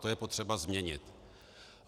To je potřeba změnit.